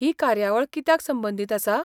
ही कार्यावळ कित्याक संबंदीत आसा?